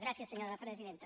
gràcies senyora presidenta